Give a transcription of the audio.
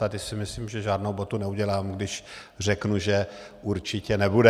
Tady si myslím, že žádnou botu neudělám, když řeknu, že určitě nebude.